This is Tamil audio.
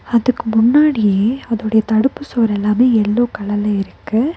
அதுக்கு முன்னாடியே அதோடைய தடுப்பு சுவர் எல்லாமே எல்லோ கலர்ல இருக்கு.